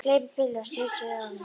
Gleypir pillu og snýr sér að honum.